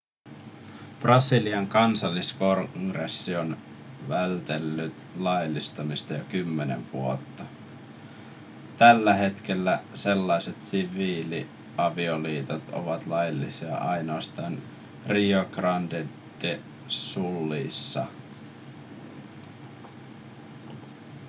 brasilian kansalliskongressi on väitellyt laillistamisesta jo kymmenen vuotta tällä hetkellä sellaiset siviiliavioliitot ovat laillisia ainoastaan rio grande do sulissa